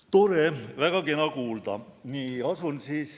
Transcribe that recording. Tore, väga kena kuulda!